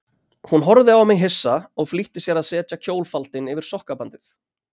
Hún horfði á mig hissa og flýtti sér að setja kjólfaldinn yfir sokkabandið.